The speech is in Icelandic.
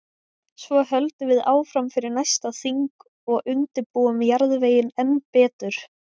Svo höldum við áfram fyrir næsta þing og undirbúum jarðveginn enn betur.